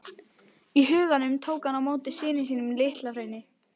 í huganum tók hann á móti syni sínum á LitlaHrauni.